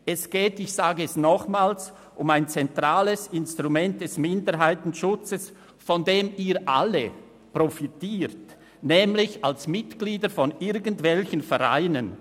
Ich wiederhole: Es geht um ein zentrales Instrument des Minderheitenschutzes, von dem Sie alle profitieren, nämlich als Mitglieder von irgendwelchen Vereinen.